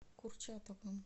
курчатовым